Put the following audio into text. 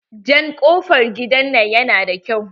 Jan kofar gidan nan yana da kyau.